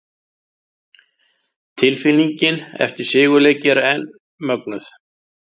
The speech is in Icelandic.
Tilfinningin eftir sigurleiki er enn mögnuð!